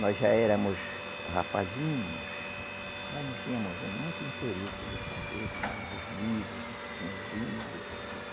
Nós já éramos rapazinhos, mas nós tínhamos muito interesse de saber, tínhamos os livros, a gente tinha os livro.